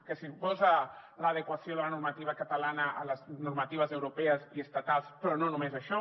que suposa l’adequació de la normativa catalana a les normatives europees i estatals però no només això